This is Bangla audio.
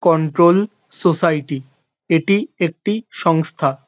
কন্ট্রোল সোসাইটি এটি একটি সংস্থা।